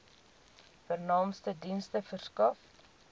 vernaamste dienste verskaf